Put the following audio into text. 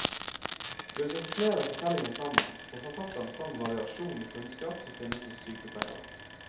Ved å sette flere fortellinger sammen, får forfatterne fram variasjonen i kunnskap som finnes hos sykepleiere.